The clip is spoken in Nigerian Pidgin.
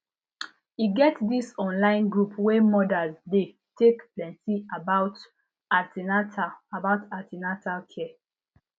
e get this online group wey mothers dey take plenty about an ten atal about an ten atal care